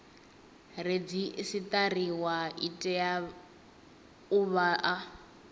redzisiṱariwa i tea u vha